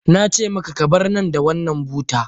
Na ce maka, ka bar nan da wannan buta.